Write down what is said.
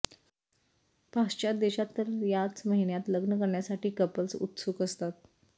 पाश्चात्य देशात तर याच महिन्यात लग्न करण्यासाठी कपल्स उत्सुक असतात